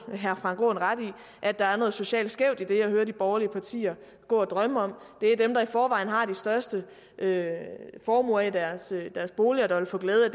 herre frank aaen ret i at der er noget socialt skævt i det jeg hører de borgerlige partier gå og drømme om det er dem der i forvejen har de største formuer i deres boliger der vil få glæde af